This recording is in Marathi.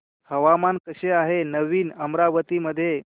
हवामान कसे आहे नवीन अमरावती मध्ये